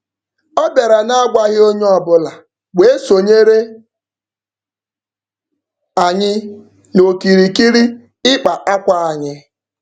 Ọ bịara n'agwaghị onye ọbụla wee sonyere anyi n'okirikiri ịkpa akwa anyị.